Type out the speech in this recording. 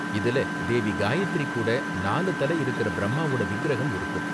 இதுல தேவி காயத்ரி கூட நாலு தலை இருக்குற பிரம்மாவோட விக்கிரகம் இருக்கும்.